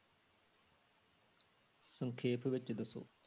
ਸੰਖੇਪ ਵਿੱਚ ਦੱਸੋ।